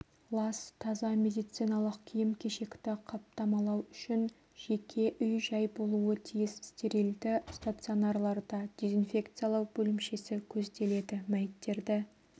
лас таза медициналық киім-кешекті қаптамалау үшін жеке үй-жай болуы тиіс стерилді стационарларда дезинфекциялау бөлімшесі көзделеді мәйіттерді